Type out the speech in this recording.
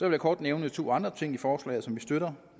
jeg kort nævne to andre ting i forslaget som vi støtter